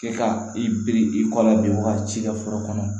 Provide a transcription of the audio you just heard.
Kɛ ka i biri i kɔ la bin wagati foro kɔnɔ